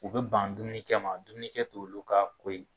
U bɛ ban dumunikɛ ma dumunikɛ t'olu ka ko ye.